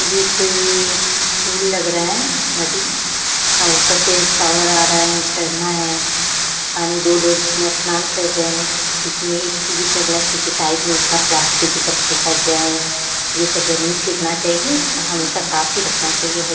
ये कोई पूल लग रहा है नदी। अ ऊपर से शावर आ रहा है झरना है। अ दो लोग इसमें स्नान कर रहें हैं लेकिन एक चीज इसमें गलत है की साइड में इतना प्लास्टिक ई सब फेका गया है। ये सब नही फेकना चाहिये हमेशा साफ ही रखना चाहिए। हर --